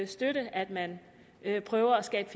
støtte at man prøver at skabe